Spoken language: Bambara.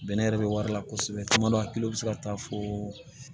Bɛnɛ yɛrɛ be wari la kosɛbɛ caman hakili bɛ se ka taa fo